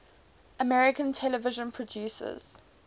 american television producers